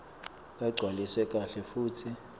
lagcwaliswe kahle futsi